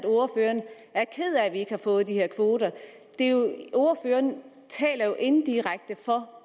at vi ikke har fået de her kvoter ordføreren taler jo igen indirekte for